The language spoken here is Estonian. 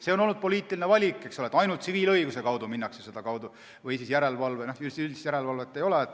See on olnud poliitiline valik, et ainult tsiviilõiguse kaudu minnakse seda tegema, üldist järelevalvet ei ole.